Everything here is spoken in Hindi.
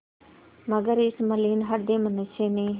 मगर इस मलिन हृदय मनुष्य ने